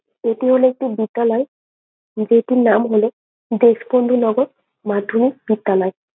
এটি হলো একটি বিদ্যালয় যেটির নাম হলো দেশবন্ধু নগর মাধ্যমিক বিদ্যালয়।